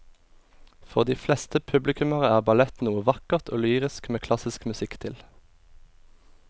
For de fleste publikummere er ballett noe vakkert og lyrisk med klassisk musikk til.